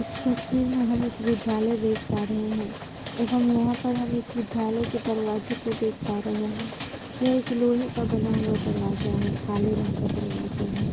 इस तस्वीर में हम एक विधालय देख पा रहे हैं एवं यहाँ पर हम एक विधालय के दरवाजे को देख पा रहे हैं। यह एक लोहे का बना हुआ दरवाजा है काले रंग का दरवाजा है।